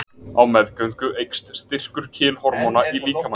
Á meðgöngu eykst styrkur kynhormóna í líkamanum.